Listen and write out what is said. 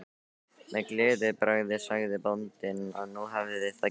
Með gleðibragði sagði bóndinn að nú hefði það gengið.